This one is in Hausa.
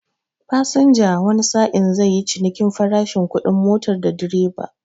Fasinja wani sa'in zai yi cinikin farashi kudin motar da direba.